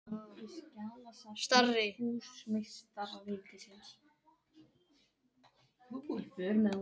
Starri